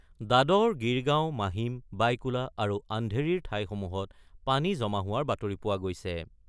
দাদৰ, গিৰগাওঁ, মাহিম, বায়কুলা আৰু অন্ধেৰীৰ ঠাইসমূহত পানী জমা হোৱাৰ বাতৰি পোৱা গৈছে।